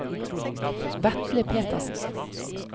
Vetle Petersen